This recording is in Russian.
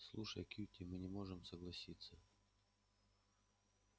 слушай кьюти мы не можем согласиться